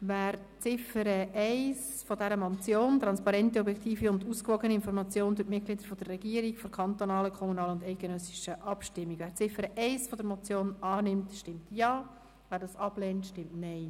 Wer die Ziffer 1 der Motion «Transparente, objektive und ausgewogene Information durch die Mitglieder der Regierung vor kantonalen, kommunalen und eidgenössischen Abstimmungen» annimmt, stimmt Ja, wer dies ablehnt, stimmt Nein.